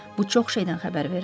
Bu çox şeydən xəbər verir.